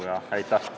Aitäh!